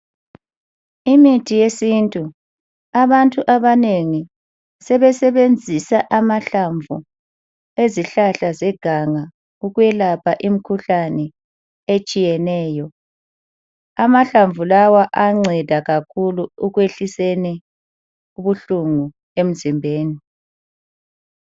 Imithi yesintu. Abantu abanengi sebesebenzisa amahlamvu ezihlahla zeganga ukuyelapha imikhuhlane etshiyeneyo. Amahlamvu lawa ayanceda kakhulu ekwehliseni ubuhlungu emzimbeni.